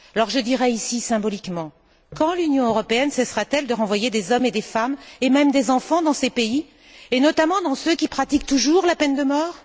Je dirai ici symboliquement quand l'Union européenne cessera t elle de renvoyer des hommes et des femmes et même des enfants dans ces pays, et notamment dans ceux qui pratiquent toujours la peine de mort?